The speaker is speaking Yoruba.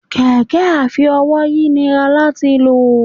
kẹkẹ afi-ówòyi nirá latí lọ